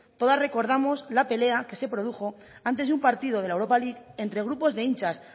todas recordamos la pelea que se produjo antes de un partido de la europa league entre grupos de hinchas